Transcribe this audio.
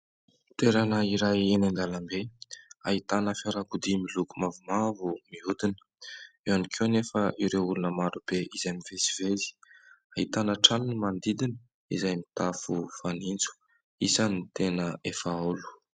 Toerana iray eny an-dalambe ahitana fiarakodia miloko mavomavo mihodina. Eo ihany ko anefa ireo olona maro be izay mivezivezy, ahitana trano ny manodidina izay mitafo fanitso, isan'ny tena efa haolo.